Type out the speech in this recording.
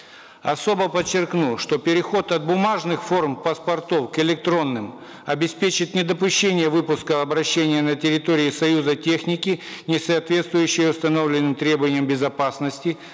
особо подчеркну что переход от бумажных форм паспортов к электронным обеспечит недопущение выпуска в обращение на территории союза техники несоответствующей установленным требованиям безопасности